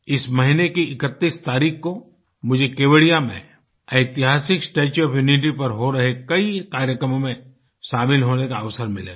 इस महीने की 31 तारीख़ को मुझे केवड़िया में ऐतिहासिक स्टेच्यू ओएफ यूनिटी पर हो रहे कई कार्यक्रमों में शामिल होने का अवसर मिलेगा